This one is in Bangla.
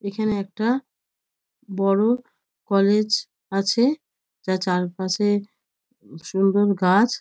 এখানে একটা বড় কলেজ আছে। যার চারপাশে সুন্দর গাছ।